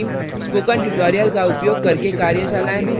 spoken tutorials का उपयोग करके कार्यशालाएँ भी चलाती हैं